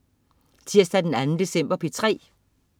Tirsdag den 2. december - P3: